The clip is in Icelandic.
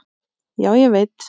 Já, ég veit